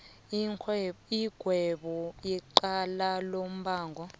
igwebe icala lombango